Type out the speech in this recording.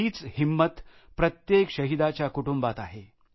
हीच हिंमत प्रत्येक शहीदाच्या कुटुंबात आहे